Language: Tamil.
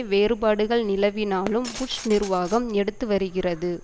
வேறுபாடுகள் நிலவினாலும் புஷ் நிர்வாகம் எடுத்து வருகிறது